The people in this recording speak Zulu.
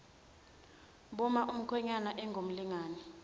buma umkhwenyana engumlingani